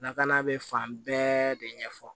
Lakana bɛ fan bɛɛ de ɲɛfɔ